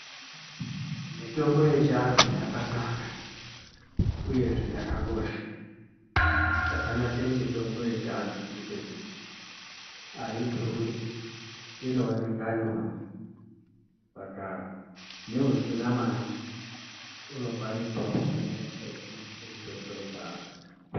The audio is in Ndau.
Mitombo yechiantu yakanaka, uyezve yakakosha. Chakanakire mitombo yechiantu ngechekuti, aidhuri, inooneka nyore, saka neusina mare unokwanisawo kuzvirapa eishandise mitombo yechiantu.